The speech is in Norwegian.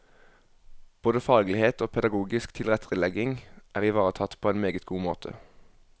Både faglighet og pedagogisk tilrettelegging er ivaretatt på en meget god måte.